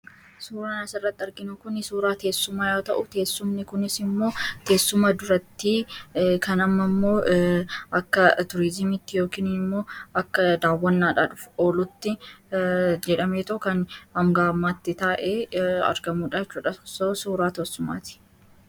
suuraa naasirratti arginu kuni suuraa teessumaa yao ta'u teessumni kunis immoo teessuma duratti kanama immoo akka turiizimitti yookiini immoo akka daawwannaadhaah olutti jedhamee tookan hamgamaatti taa'e argamuudhachodhass suuraa tossumaati